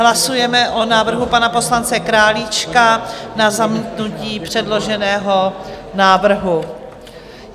Hlasujeme o návrhu pana poslance Králíčka na zamítnutí předloženého návrhu.